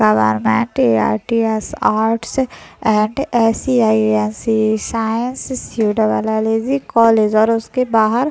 government TRTS out and SCINCA science college और उसके बाहर--